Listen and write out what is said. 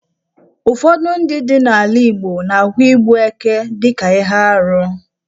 Ụfọdụ obodo ndị dị n'ala Igbo na-ahụ igbu ekè dị ka ihe arụ.